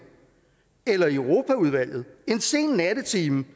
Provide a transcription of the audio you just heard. eller i europaudvalget en sen nattetime